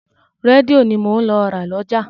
Rédíò ni mò ń lọ ra lọ́jà.